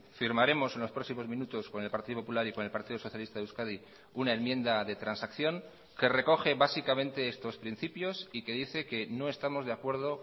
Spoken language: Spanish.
firmaremos en los próximos minutos con el partido popular y con el partido socialista de euskadi una enmienda de transacción que recoge básicamente estos principios y que dice que no estamos de acuerdo